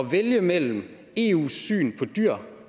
vælge mellem eus syn på dyr